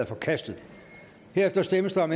er forkastet herefter stemmes der om